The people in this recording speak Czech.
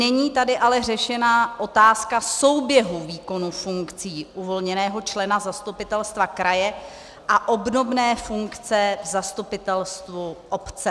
Není tady ale řešena otázka souběhu výkonu funkcí uvolněného člena zastupitelstva kraje a obdobné funkce v zastupitelstvu obce.